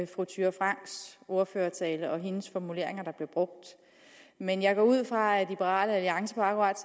fru thyra franks ordførertale og hendes formuleringer der blev brugt men jeg går ud fra at liberal alliance akkurat